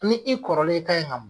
Ni i kɔrɔlen e kan in ka o